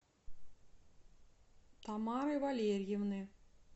тамары валерьевны